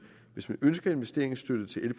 hvis man ønsker investeringsstøtte til